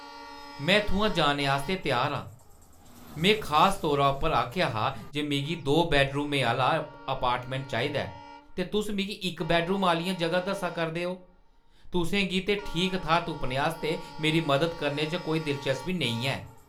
मैं इत्थुआं जाने आस्तै त्यार आं। मैं खास तौर उप्पर आखेआ हा जे मिगी दो-बैड्डरूमें आह्‌ला अपार्टमैंट चाहिदा ऐ, ते तुस मिगी इक बैड्डरूम आह्‌लियां ज'गां दस्सा करदे ओ। तुसें गी ते ठीक थाह्‌र तुप्पने आस्तै मेरी मदद करने च कोई दिलचस्पी नेईं ऐ।